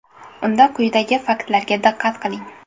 Unda quyidagi faktlarga diqqat qiling.